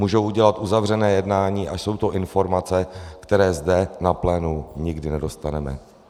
Můžou udělat uzavřené jednání a jsou to informace, které zde na plénu nikdy nedostaneme.